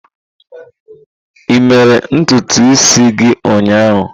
Ị mere ntutu isi gị ụnyaahụ?